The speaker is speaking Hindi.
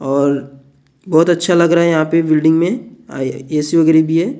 और बहुत अच्छा लग रहा है यहाँ पे बिल्डिंग में ए_सी वगैरह भी है ।